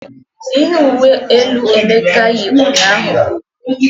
Ihe uwe elu Emeka yi ụnyaahụ bụ owu.